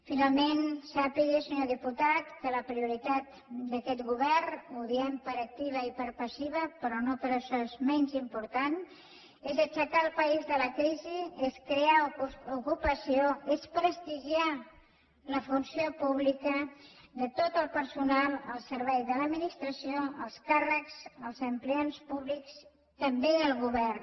finalment sàpiga senyor diputat que la prioritat d’aquest govern ho diem per activa i per passiva però no per això és menys important és aixecar el país de la crisi és crear ocupació és prestigiar la funció pública de tot el personal al servei de l’administració els càrrecs els empleats públics també el govern